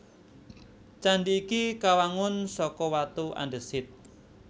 Candhi iki kawangun saka watu andhesit